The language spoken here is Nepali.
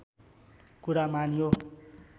कुरा मानियो